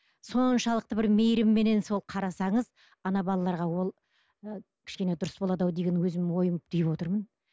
соншалықты бір мейірімменен сол қарасаңыз ана балаларға ол ы кішкене дұрыс болады ау деген өзімнің ойымды түйіп отырмын